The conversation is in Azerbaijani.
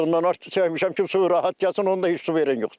Betondan arx çəkmişəm ki, su rahat gəlsin, onda heç su verən yoxdur.